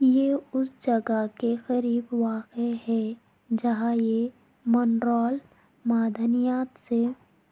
یہ اس جگہوں کے قریب واقع ہے جہاں یہ منرال معدنیات سے